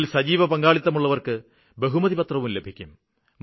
ഇതില് സജീവപങ്കാളിത്തമുള്ളവര്ക്ക് ബഹുമതിപത്രവും ലഭിക്കും